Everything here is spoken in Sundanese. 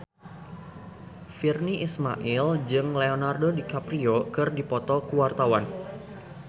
Virnie Ismail jeung Leonardo DiCaprio keur dipoto ku wartawan